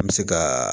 An bɛ se ka